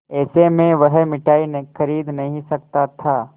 ऐसे में वह मिठाई खरीद नहीं सकता था